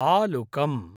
आलुकम्